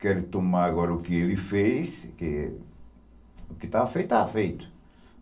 Querem tomar agora o que ele fez, o que o que estava feito, estava feito.